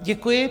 Děkuji.